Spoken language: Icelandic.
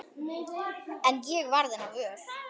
En ég varð hennar vör.